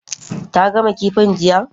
Ta gama kifin jiya?